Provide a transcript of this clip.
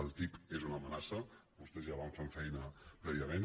el ttip és una amenaça vostès ja van fent feina prèviament